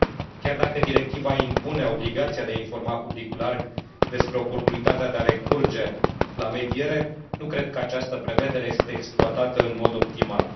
Chiar dacă directiva impune obligația de a informa publicul larg despre oportunitatea de a recurge la mediere, nu cred că această prevedere este exploatată în mod optimal.